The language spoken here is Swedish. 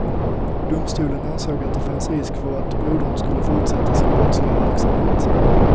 Domstolen ansåg att det fanns risk för att brodern skulle fortsätta sin brottsliga verksamhet.